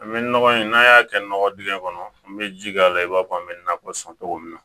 An bɛ nɔgɔ in n'a y'a kɛ nɔgɔ dingɛ kɔnɔ an bɛ ji k'a la i b'a fɔ an bɛ nakɔ sɔn cogo min na